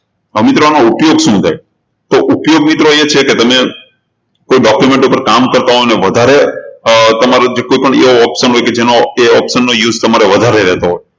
તો મિત્રો આનો ઉપયોગ શું થાય તો ઉપયોગ મિત્રો એ છે કે તમે કોઈ document ઉપર કામ કરતા હોય ને વધારે તમારું જેટલું પણ એ option હોય કે એ option નો use તમારે વધારે રહેતો હોય